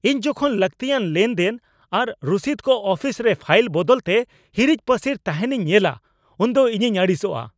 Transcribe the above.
ᱤᱧ ᱡᱚᱠᱷᱚᱱ ᱞᱟᱹᱠᱛᱤᱭᱟᱱ ᱞᱮᱱᱫᱮᱱ ᱟᱨ ᱨᱚᱥᱤᱫ ᱠᱚ ᱟᱯᱷᱤᱥ ᱨᱮ ᱯᱷᱟᱭᱤᱞ ᱵᱚᱫᱚᱞᱛᱮ ᱦᱤᱨᱤᱡᱼᱯᱟᱹᱥᱤᱨ ᱛᱟᱦᱮᱱᱤᱧ ᱧᱮᱞᱟ ᱩᱱᱫᱚ ᱤᱧᱤᱧ ᱟᱹᱲᱤᱥᱚᱜᱼᱟ ᱾